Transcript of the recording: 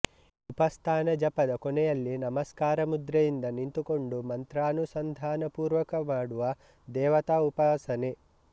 ಉಪಸ್ಥಾನ ಜಪದ ಕೊನೆಯಲ್ಲಿ ನಮಸ್ಕಾರ ಮುದ್ರೆಯಿಂದ ನಿಂತುಕೊಂಡು ಮಂತ್ರಾನುಸಂಧಾನಪೂರ್ವಕ ಮಾಡುವ ದೇವತಾ ಉಪಾಸನೆ